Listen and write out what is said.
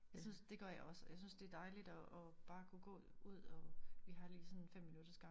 Jeg synes det gør jeg også og jeg synes det er dejligt at at bare kunne gå ud og vi har lige sådan 5 minutters gang